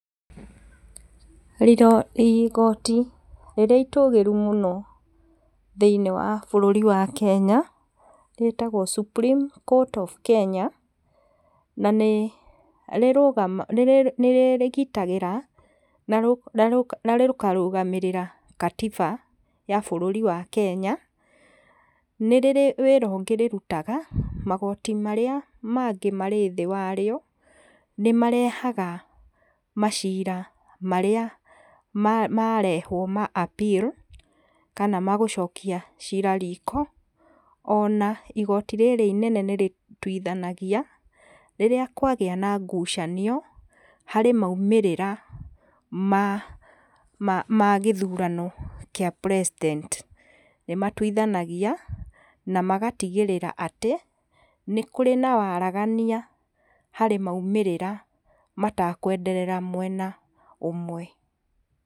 Igoti rĩrĩa itũgĩru mũno thĩ-inĩ wa bũrũri wa Kenya, rĩtagwo Supreme Court of Kenya, na nĩ rĩgitagĩra, na rĩkarũgamĩrĩra katiba ya bũrũri wa Kenya, nĩ rĩrĩ wĩra ũngĩ rĩrutaga, magoti marĩa mangĩ marĩ thĩ warĩo, nĩ marehaga macira marĩa marehwo ma Appeal, kana magũcokia cira riko, o na igoti rĩrĩ inene nĩ rĩtuithanagia, rĩrĩa kwagĩa na ngucanio, harĩ maumĩrĩra ma gĩthurano gĩa President nĩ matuithanagia na magatigĩrĩra atĩ, nĩ kũrĩ na waragania harĩ maumĩrĩra matakwenderera mwena ũmwe.